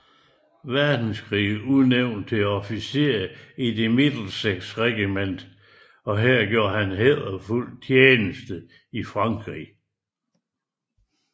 Verdenskrig udnævnt til officer i The Middlesex Regiment og her gjorde han hæderfuld tjeneste i Frankrig